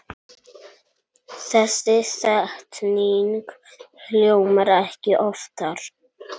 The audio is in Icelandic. Þessi setning hljómar ekki oftar.